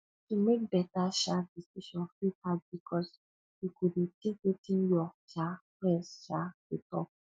to mek beta um decision fit hard bikos you go dey tink wetin yur um friends um go tok